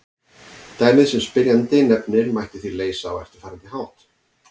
Dæmið sem spyrjandi nefnir mætti því leysa á eftirfarandi hátt.